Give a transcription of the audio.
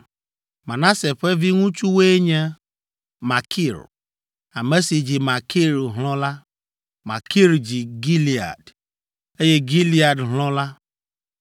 Manase ƒe viŋutsuwoe nye: Makir, ame si dzi Makir hlɔ̃ la (Makir dzi Gilead), eye Gilead hlɔ̃ la.